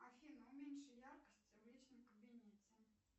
афина уменьши яркость в личном кабинете